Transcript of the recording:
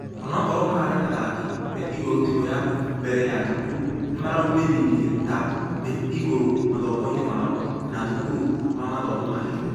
Ũnũkorwo mararĩ athaki mĩ igũrũ timũ ya mbere ya thukuru nĩmaraumĩrĩra ta.....mĩ igũrũ mathomo-inĩ mao ma thukuru wa mathomo ma igũrŭ.